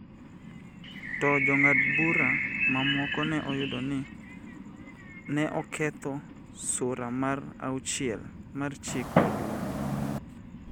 to Jong'ad bura mamoko ne yudo ni ne oketho Sura mar Auchiel mar Chik Maduong�.